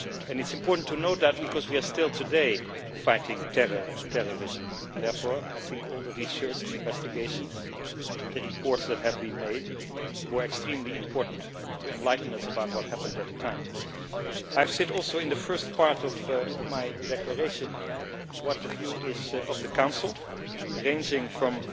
It is important to note that because we are still today fighting terror and terrorism and therefore I think all the research, the investigations, the reports that have been made were extremely important to enlighten us about what happened at the time. I have said also in the first part of my declaration what the view of the Council is, ranging from